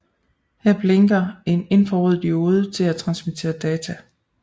Her blinker en infrarød diode til at transmittere data